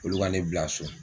Olu ka ne bila so.